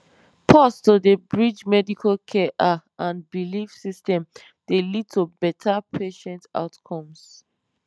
pause to dey bridge medical care ah and belief systems dey lead to better patient outcomes